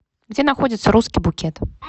где находится русский букет